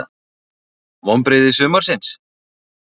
Vonbrigði sumarsins?